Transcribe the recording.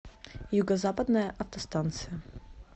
юго западная автостанция